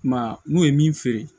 I m'a ye n'u ye min feere